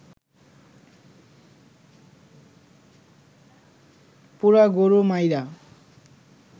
পুরা গরু মাইরা